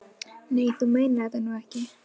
Nei, þú meinar þetta nú ekki.